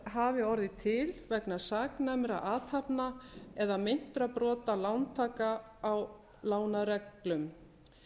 hafi orðið til vegna saknæmra athafna eða meintra brota lántaka á lánareglum